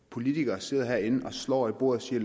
politikere sidder herinde og slår i bordet og siger